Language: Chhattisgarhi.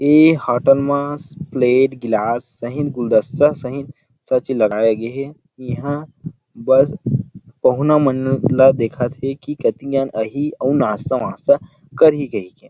ये होटल मा प्लेट ग्लास सहीत गुलदस्ता सहीत सच लगाये गे हे बस पहुना मन ला देखत हे की कती जन आहि अऊ नास्ता वास्ता करही कई के